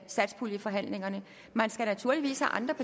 satspuljeforhandlingerne